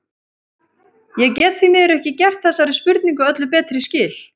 Ég get því miður ekki gert þessari spurningu öllu betri skil.